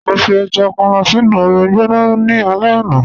Mọ fi ẹja pànla sínu omi gbọná ní alẹ̀ àná.